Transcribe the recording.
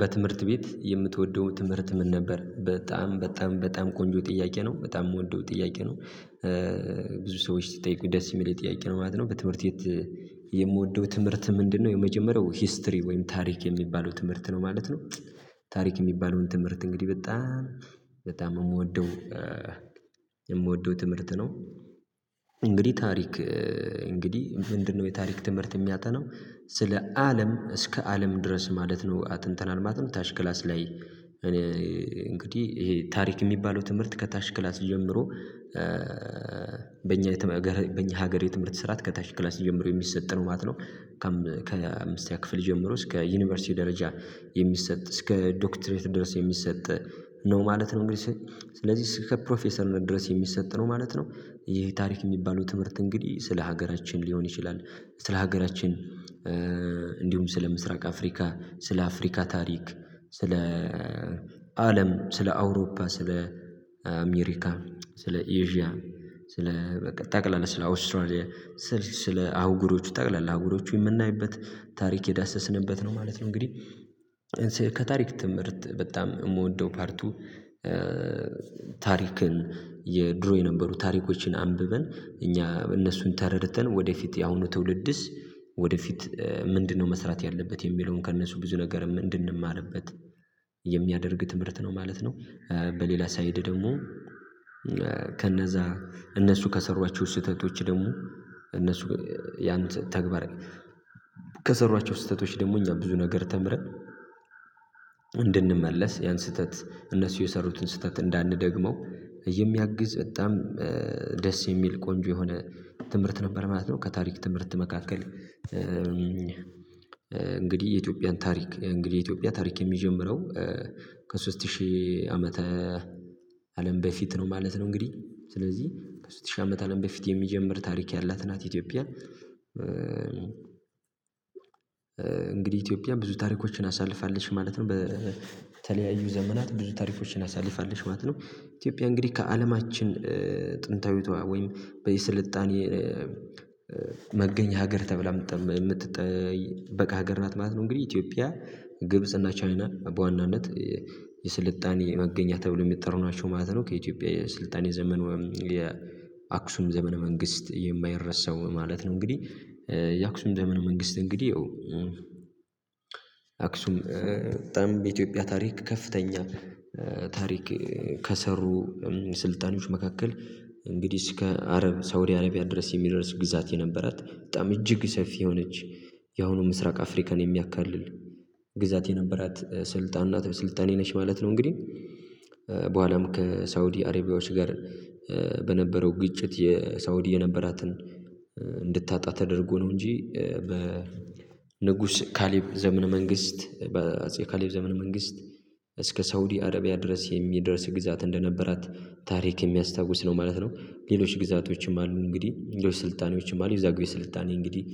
በትምህርት ቤት የምትወደው ትምህርት ምን ነበር? በጣም በጣም በጣም ቆንጆ ጥያቄ ነው በጣም የምወደው ጥያቄ ነው። ብዙ ሰዎች ሲጠይቁኝ ደስ የሚለኝ ጥያቄ ነው ማለት ነው። በትምህርት የምወደው ትምህርት ምንድነው? የመጀመሪያው ሂስትሪ ወይም ታሪክ የሚባለው ትምህርት ነው ማለት ነው። ታሪክ የሚባለውን ትምህርት እንግዲህ በጣም በጣም የምወደው የምወደው ትምህርት ነው። እንግዲህ ታሪክ እንግዲህ ምንድነው የታሪክ ትምህርት የሚያጠናው ስለ አለም እስከ አለም ድረስ ማለት ነው። አጥንተናል ማለት ነው። ታች ክላስ ላይ እኔ እንግዲህ ይሄ ታሪክ የሚባለው ትምህርት ከታች ክላስ ጀምሮ። በእኛ በእኛ ሀገር የትምህርት ስርዓት ከታች ክላስ ጀምሮ የሚሰጥ ነው ማለት ነው። ከአምስተኛ ክፍል ጀምሮ እስከ ዩኒቨርሲቲ ደረጃ የሚሰጥ እስከ ዶክተሬት ድረስ የሚሰጥ ነው ማለት ነው። እንግዲህ ስለዚህ ከፕሮፌሰርነት ድረስ የሚሰጥ ነው ማለት ነው። ይህ ታሪክ የሚባለው ትምህርት እንግዲህ ስለ ሀገራችን ሊሆን ይችላል። ስለ ሀገራችን እንዲሁም ስለ ምስራቅ አፍሪካ ስለ አፍሪካ ታሪክ ስለ አለም ስለ አውሮፓ ስለ አሜሪካ ስለ ኢዥያ ስለ ጠቅላላ ስለ አውስትራሊያ ስለ አህጉሮቹ ጠቅላላ አህጉሮቹ የምናይበት ታሪክ የዳሰስንበት ነው ማለት ነው። እንግዲህ ከታሪክ ትምህርት በጣም የምወደው ፓርቱ። ታሪክን የድሮ የነበሩ ታሪኮችን አንብበን እኛ እነሱን ተረድተን ወደፊት የአሁኑ ትውልድስ ወደፊት ምንድነው? መስራት ያለበት የሚለውን ከእነሱ ብዙ ነገር ምን እንድንማርበት የሚያደርግ ትምህርት ነው ማለት ነው። በሌላ ሳይድ ደግሞ ከነዛ እነሱ ከሰሯቸው ስህተቶች ደግሞ እነሱ ያን ተግባር ከሰሯቸው ስህተቶች ደግሞ እኛ ብዙ ነገር ተምረን እንድንመለስ ያን ስህተት እነሱ የሰሩትን ስህተት እንዳንደግመው የሚያግዝ በጣም ደስ የሚል ቆንጆ የሆነ ትምህርት ነበር ማለት ነው። ከታሪክ ትምህርት መካከል እንግዲህ የኢትዮጵያን ታሪክ እንግዲህ የኢትዮጵያ ታሪክ የሚጀምረው ከሶስት ሺህ ዓመተ አለም በፊት ነው ማለት ነው። እንግዲህ ስለዚህ ሶስት ሺህ አመት አለም በፊት የሚጀምር ታሪክ ያላት ናት ኢትዮጵያ። እንግዲህ ኢትዮጵያ ብዙ ታሪኮችን አሳልፋለች ማለት ነው። በተለያዩ ዘመናት ብዙ ታሪኮችን አሳልፋለች ማለት ነው። ኢትዮጵያ እንግዲህ ከአለማችን ጥንታዊቷ ወይም በየስልጣኔ መገኘኛ ሀገር ተብላ የምትጠበቅ ሀገር ናት ማለት ነው። እንግዲህ ኢትዮጵያ ግብጽና ቻይና በዋናነት የስልጣኔ መገኛ ተብሎው የሚጠሩ ናቸው ማለት ነው። ከኢትዮጵያ የስልጣኔ ዘመን ወይም የአክሱም ዘመነ መንግስት የማይረሳው ማለት ነው። እንግዲህ የአክሱም ዘመነ ነው መንግስት እንግዲህ ያው አክሱም በጣም በኢትዮጵያ ታሪክ ከፍተኛ ታሪክ ከሰሩ ስልጣኔዎች መካከል እንግዲህ እስከ አረብ ሳውዲ አረቢያ ድረስ የሚደርስ ግዛት የነበራት በጣም እጅግ ሰፊ የሆነች ያሁኑ ምስራቅ አፍሪካን የሚያካልል ግዛት የነበራት ስልጣን ናት ስልጣኔ ነች ማለት ነው። እንግዲህ በኋላም ከሳውዲ አረቢያዎች ጋር በነበረው ግጭት የሳውዲ የነበራትን እንድታጣ ተደርጎ ነው እንጂ በ ንጉስ ካሌብ ዘመነ መንግስት በአጼ ካሌብ ዘመነ መንግስት እስከ ሳውዲ አረቢያ ድረስ የሚደርስ ግዛት እንደነበራት ታሪክ የሚያስታውስ ነው ማለት ነው። ሌሎች ግዛቶችም አሉ እንግዲህ እንደውም ስልጣኔዎችም አሉ የዛግዌ ስልጣኔ እንግዲህ